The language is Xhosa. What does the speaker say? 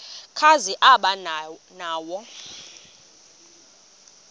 kazi aba nawo